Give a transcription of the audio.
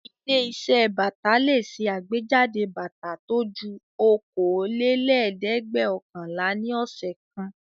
Ilé-iṣẹ́ bàtà le ṣe àgbéjáde bàtà tó ju okòólélẹ́ẹ̀dẹ́gbẹ́ọ̀kànlá ní ọ̀sẹ̀ kan.